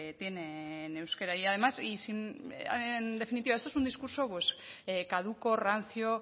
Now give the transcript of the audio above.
tienen euskera y además en definitiva esto es un discurso pues caduco rancio